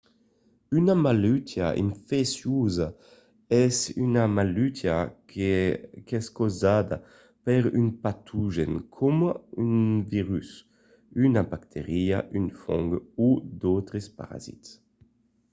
una malautiá infecciosa es una malautiá qu’es causada per un patogèn coma un virus una bacteria un fong o d’autres parasits